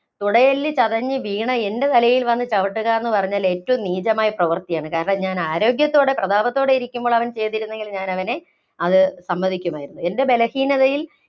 തുടയെല്ല് ചതഞ്ഞു വീണ എന്‍റെ തലയില്‍ വന്ന് ചവിട്ടുക എന്നു പറഞ്ഞാല്‍ ഏറ്റവും നീചമായ പ്രവൃത്തിയാണ്. കാരണം, ഞാന്‍ ആരോഗ്യത്തോടെ, പ്രതാപത്തോടെ ഇരിക്കുമ്പോള്‍ അവന്‍ ചെയ്തിരുന്നെങ്കില്‍ ഞാന്‍ അവനെ അത് സമ്മതിക്കുമായിരുന്നു. എന്‍റെ ബലഹീനതയില്‍